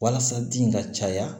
Walasa den ka caya